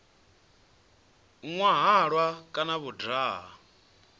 nwa halwa kana vho daha